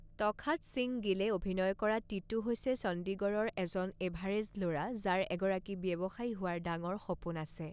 তখাত সিং গিলে অভিনয় কৰা টিটু হৈছে চণ্ডিগড়ৰ এজন এভাৰেজ ল'ৰা যাৰ এগৰাকী ব্যৱসায়ী হোৱাৰ ডাঙৰ সপোন আছে।